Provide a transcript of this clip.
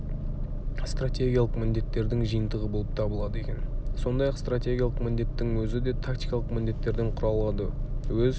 стратегиялық міндеттердің жиынтығы болып табылады екен сондай-ақ стратегиялық міндеттің өзі де тактикалық міндеттерден құралады өз